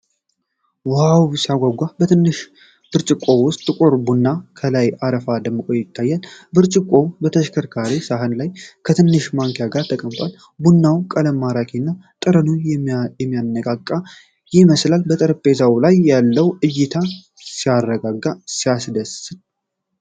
ዋው ሲያጓጓ! በትንሽ ብርጭቆ ውስጥ ጥቁር ቡና ከላይ አረፋው ደምቆ ይታያል። ብርጭቆው በተሸከርካሪ ሳህን ላይ ከትንሽ ማንኪያ ጋር ተቀምጧል። የቡናው ቀለም ማራኪና ጠረኑ የሚያነቃቃ ይመስላል። በጠረጴዛ ላይ ያለው እይታ ሲያረጋጋ! ሲያስደስት!